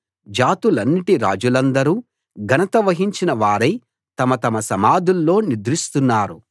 జాతులన్నిటి రాజులందరూ ఘనత వహించినవారై తమ తమ సమాధుల్లో నిద్రిస్తున్నారు